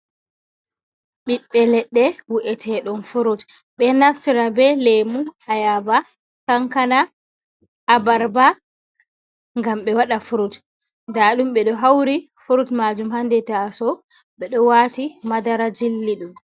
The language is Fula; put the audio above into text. Ɓiɓɓe leɗɗe wi’eteeɗum frut, ɓe naftira be lemu, ayaba, kankana, abarba, ngam ɓe waɗa frut. Ndaa ɗum ɓe ɗo hauri frut maajum ha nder taasawo, ɓe ɗo waati madara jilli ɗum.